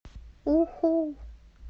уху